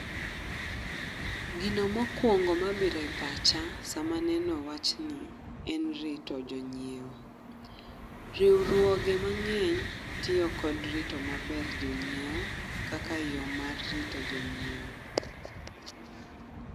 Gino mokwongo mabiro e pacha sama neno wachni en rito jonyiewo. Riwruoge mang'eny tiyo kod rito maber jonyiewo kaka yo mar rito jonyiewo.